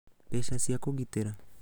Mbeca cia Kũgitĩra: